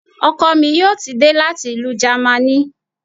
Ọkọ mi yóò ti dé láti ìlú Jamaní